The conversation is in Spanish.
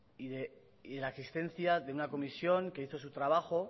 y la existencia de una comisión que hizo su trabajo